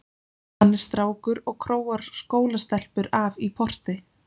Hann er strákur og króar skólastelpur af í porti.